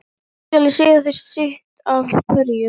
Nú skal ég segja þér sitt af hverju.